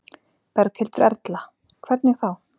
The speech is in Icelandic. Berghildur Erla: Hvernig þá?